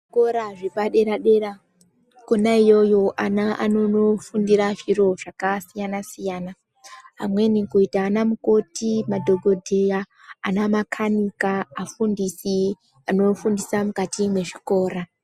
Kuzvikora zvepadera dera kona iyoyo ana anonofundira zviro zvakasiyana siyana amweni kuita ana mukoti madhokodheya ana makanika amufundisi anofundira mukati mwezvikora.